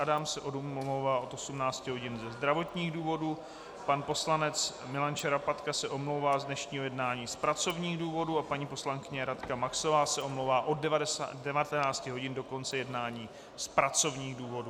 Adam se omlouvá od 18 hodin ze zdravotních důvodů, pan poslanec Milan Šarapatka se omlouvá z dnešního jednání z pracovních důvodů a paní poslankyně Radka Maxová se omlouvá od 19 hodin do konce jednání z pracovních důvodů.